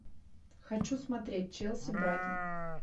хочу смотреть челси брайтон